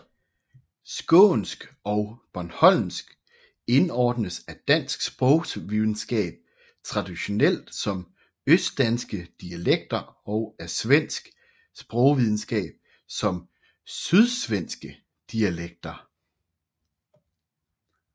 Skånsk og bornholmsk indordnes af dansk sprogvidenskab traditionelt som østdanske dialekter og af svensk sprogvidenskab som sydsvenske dialekter